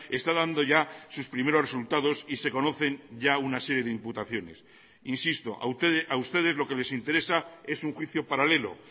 está dando ya sus primeros resultados y se conocen ya una serie de imputaciones insisto a ustedes lo que les interesa es un juicio paralelo